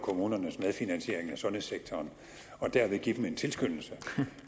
kommunernes medfinansiering af sundhedssektoren og derved give dem en tilskyndelse